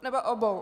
Nebo obou.